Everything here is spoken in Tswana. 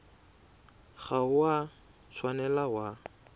ga o a tshwanela wa